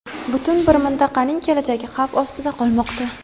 Butun bir mintaqaning kelajagi xavf ostida qolmoqda.